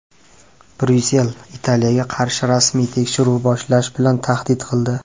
Bryussel Italiyaga qarshi rasmiy tekshiruv boshlash bilan tahdid qildi.